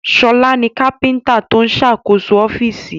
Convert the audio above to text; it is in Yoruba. Ṣọlá ni kápíntà tó ń ṣàkóso ọ́fíìsì